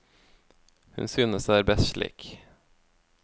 Hun synes det er best slik.